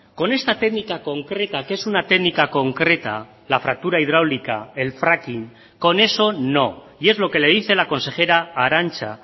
con esta técnica concreta que es una técnica concreta la fractura hidráulica el fracking con eso no y es lo que le dice la consejera arantza